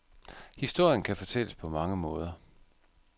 Historien kan fortælles på mange måder.